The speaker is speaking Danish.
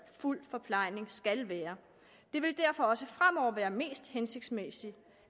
fuld forplejning skal være det vil derfor også fremover være mest hensigtsmæssigt